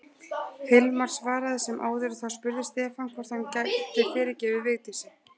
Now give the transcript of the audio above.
Hilmar svaraði sem áður og þá spurði Stefán hvort hann gæti fyrirgefið Vigdísi.